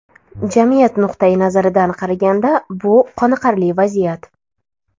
Jamiyat nuqtayi nazaridan qaraganda, bu qoniqarli vaziyat.